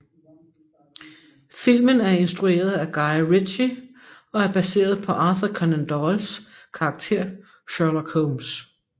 Filmen er instrueret af Guy Ritchie og er baseret på Arthur Conan Doyles karakter Sherlock Holmes